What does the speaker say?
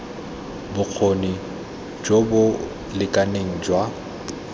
bokgoni jo bo lekaneng jwa